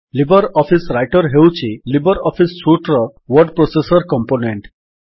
Libre office Writer ହେଉଛି LibreOffice suite ର word processor component